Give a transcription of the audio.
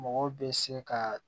Mɔgɔ bɛ se ka